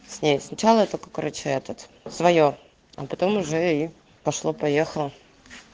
сначала это короче этот своё а потом уже пошло поехало